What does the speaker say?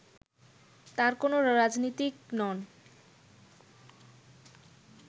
তার কোন রাজনীতিক নন